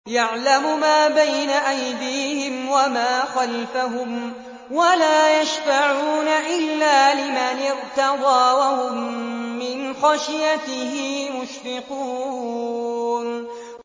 يَعْلَمُ مَا بَيْنَ أَيْدِيهِمْ وَمَا خَلْفَهُمْ وَلَا يَشْفَعُونَ إِلَّا لِمَنِ ارْتَضَىٰ وَهُم مِّنْ خَشْيَتِهِ مُشْفِقُونَ